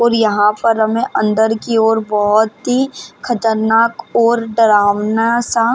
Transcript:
और यहाँ पर हमे अंदर की और बहुत ही खतरनाक और डरावना सा --